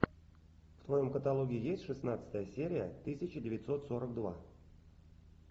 в твоем каталоге есть шестнадцатая серия тысяча девятьсот сорок два